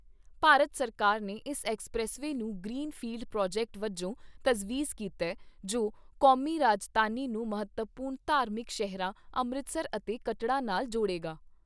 ਭਾਰਤ ਸਰਕਾਰ ਨੇ ਇਸ ਐੱਕਸਪ੍ਰੈਸਵੇਅ ਨੂੰ ਗਰੀਨਫੀਲਡ ਪ੍ਰਾਜੈਕਟ ਵਜੋਂ ਤਜਵੀਜ਼ ਕੀਤਾ ਜੋ ਕੌਮੀ ਰਾਜਧਾਨੀ ਨੂੰ ਮਹੱਤਵਪੂਰਨ ਧਾਰਮਿਕ ਸ਼ਹਿਰਾਂ ਅੰਮ੍ਰਿਤਸਰ ਅਤੇ ਕੱਟੜਾ ਨਾਲ ਜੋੜੇਗਾ।